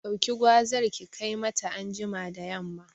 Ɗauki gwazar ki kai mata anjima da yamma